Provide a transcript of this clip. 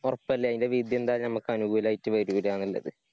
ഒറപ്പല്ലേ. അതിന്റെ വിധി എന്തായാലും നമ്മക്കനുകൂലായിട്ട് വരൂലാന്നുള്ളത്.